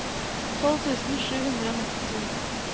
tolv tusen sju hundre og nittito